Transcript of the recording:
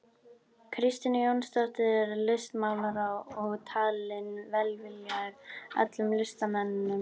Kristínu Jónsdóttur listmálara og talinn velviljaður öllum listamönnum.